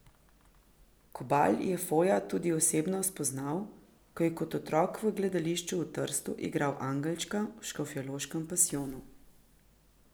Kobal je Foja tudi osebno spoznal, ko je kot otrok v gledališču v Trstu igral angelčka v Škofjeloškem pasijonu.